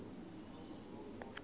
van